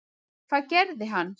Hvað gerði hann?